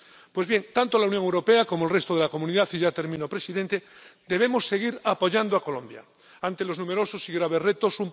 Pues bien, tanto la Unión Europea como el resto de la comunidad —y ya termino, presidente— debemos seguir apoyando a Colombia ante los numerosos y graves retos.